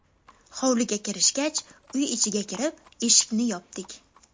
Hovliga kirishgach, uy ichiga kirib, eshikni yopdik.